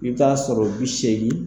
I bɛ ta sɔrɔ bi seegin.